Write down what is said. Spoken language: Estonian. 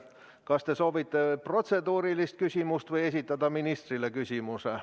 Kas te soovite esitada protseduurilise küsimuse või küsimuse ministrile?